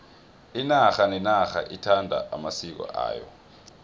inarha nenarha ithanda amasiko ayo